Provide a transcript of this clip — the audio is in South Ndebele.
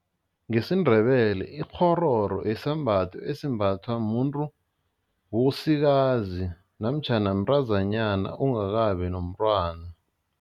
NgesiNdebele ikghororo yisembatho esimbathwa muntu osikazi namtjhana mntazanyana ongakabi nomntwana.